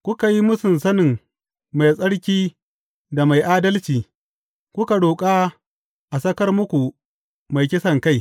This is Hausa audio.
Kuka yi mūsun sanin Mai Tsarki da Mai Adalci kuka roƙa a sakar muku mai kisankai.